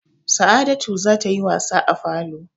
Sa'adatu za ta yi wasa a falo.